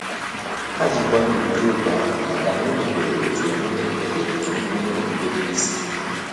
Há jì nkwanye ùgwù jụ́ òkù ahụ màkà na ọ́ mègbèrè otu ememe mègbèrè otu ememe okpukpe bụ́ isi.